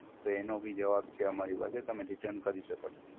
તો એનો બીજો છે અમારી પાસે તમે Return કરી શકો છો.